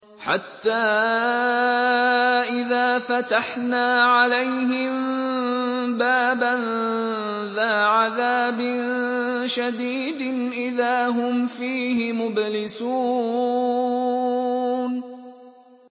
حَتَّىٰ إِذَا فَتَحْنَا عَلَيْهِم بَابًا ذَا عَذَابٍ شَدِيدٍ إِذَا هُمْ فِيهِ مُبْلِسُونَ